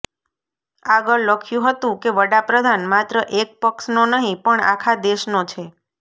આગળ લખ્યું હતું કે વડા પ્રધાન માત્ર એક પક્ષનો નહીં પણ આખા દેશનો છે